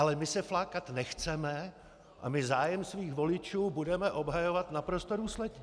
Ale my se flákat nechceme a my zájem svých voličů budeme obhajovat naprosto důsledně.